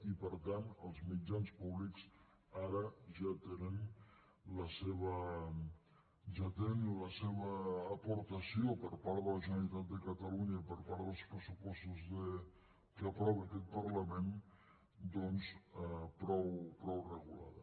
i per tant els mitjans públics ara ja tenen la seva aportació per part de la generalitat de catalunya i per part dels pressupostos que aprova aquest parlament doncs prou regulada